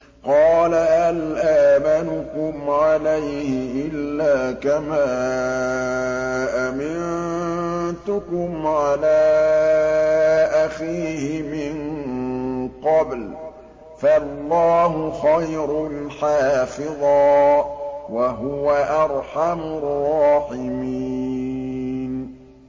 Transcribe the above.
قَالَ هَلْ آمَنُكُمْ عَلَيْهِ إِلَّا كَمَا أَمِنتُكُمْ عَلَىٰ أَخِيهِ مِن قَبْلُ ۖ فَاللَّهُ خَيْرٌ حَافِظًا ۖ وَهُوَ أَرْحَمُ الرَّاحِمِينَ